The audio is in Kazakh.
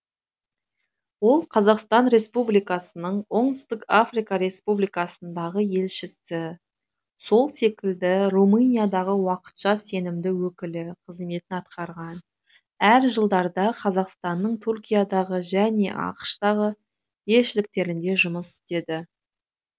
ол қазақстан республикасының оңтүстік африка республикасындағы елшісі сол секілді румыниядағы уақытша сенімді уәкілі қызметін атқарған әр жылдарда қазақстанның түркиядағы және ақш тағы елшіліктерінде жұмыс істеді